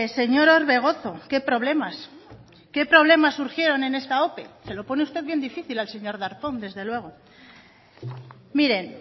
señor orbegozo qué problemas surgieron en esta ope se lo pone usted bien difícil al señor darpón desde luego miren